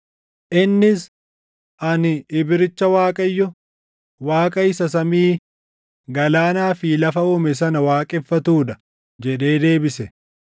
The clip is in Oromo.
Innis, “Ani Ibricha Waaqayyo, Waaqa isa samii, galaanaa fi lafa uume sana waaqeffatuu dha” jedhee deebise.